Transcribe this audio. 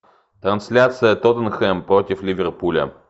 трансляция тоттенхэм против ливерпуля